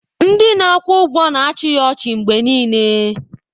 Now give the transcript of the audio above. Ndị na-akwụ ụgwọ na-achị ya ọchị mgbe niile